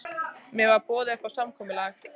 Mér var boðið upp á samkomulag